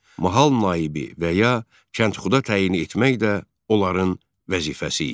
Mahal naibi və ya kəndxuda təyin etmək də onların vəzifəsi idi.